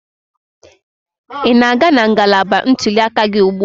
Ị na-aga na ngalaba ntuli aka gị ugbu a?